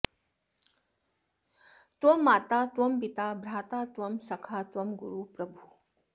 त्वं माता त्वं पिता भ्राता त्वं सखा त्वं गुरुप्रभुः